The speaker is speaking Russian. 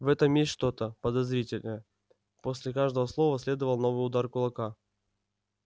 в этом есть что-то подозрительное после каждого слова следовал новый удар кулака